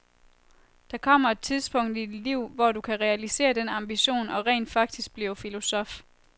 Der kommer et tidspunkt i dit liv, hvor du kan realisere den ambition og rent faktisk blive filosof.